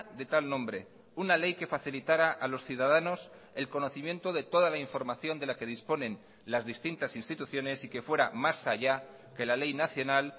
de tal nombre una ley que facilitara a los ciudadanos el conocimiento de toda la información de la que disponen las distintas instituciones y que fuera más allá que la ley nacional